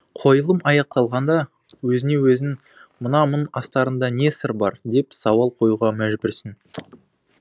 қойылым аяқталғанда өзіңе өзің мына мұң астарында не сыр бар деп сауал қоюға мәжбүрсің